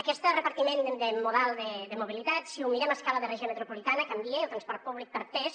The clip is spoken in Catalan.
aquest repartiment de model de mobilitat si ho mirem a escala de regió metropolitana canvia i el transport públic perd pes